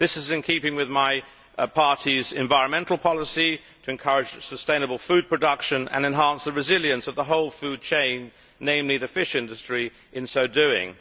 This is in keeping with my party's environmental policy to encourage sustainable food production and enhance the resilience of the whole food chain, namely the fish industry, in so doing.